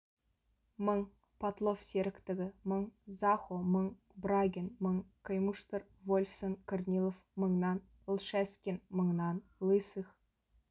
мың потлов серіктігі мың захо мың брагин мың каймуштер вольфсон корнилов мыңнан лшескин мыңнан лысых